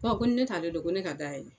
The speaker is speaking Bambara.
Kɔ ko ni ne t'ale dɔ ko ne ka da yɛlɛ